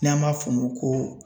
N'an b'a f'o ma ko